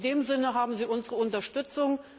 In dem Sinne haben Sie unsere Unterstützung.